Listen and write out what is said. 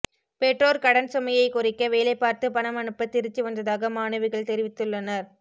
பெற்றோர் கடன் சுமையை குறைக்க வேலைபார்த்து பணம் அனுப்ப திருச்சி வந்ததாக மாணவிகள் தெரிவித்துள்ளனர்